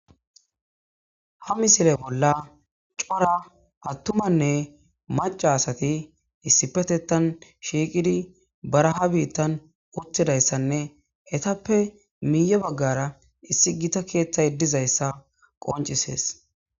Ha misile bola c'ora attumanne mac'a asati issipetetan shiqidi baraha bitan utidaysanne etappe miiye bagara issi gita kethay dizaysa qonc'ises.